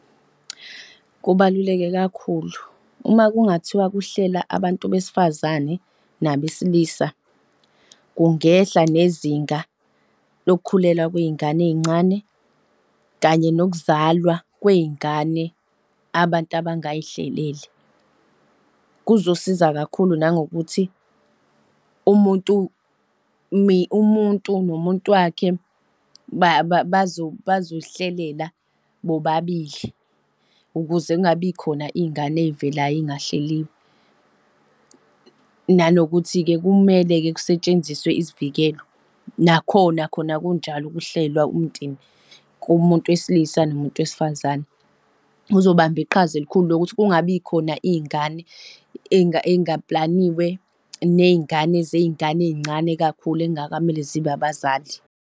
Kubaluleke kakhulu. Uma kungathiwa khuhlela abantu besifazane nabesilisa kungehla nezinga lokukhulelwa kwezingane ezincane kanye nokuzalwa kwey'ngane abantu abangazihleleli. Kuzosiza kakhulu nangokuthi umuntu umuntu nomuntu wakhe bazoy'hlelela bobabili ukuze kungabi khona izingane ezivelayo ezingahleliwe nanokuthi-ke kumele-ke kutshenziswe isivikelo nakhona khona kunjalo kuhlelwa. umndeni kumuntu wesilisa nomuntu wesifazane. Kuzobamba iqhaza elikhulu lokuthi kungabikhona iy'ngane ey'ngapulaniwe ney'ngane zey'ngane ey'ncane kakhulu ekungakamele zibe abazali.